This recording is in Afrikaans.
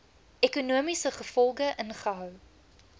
ekonomiese gevolge inhou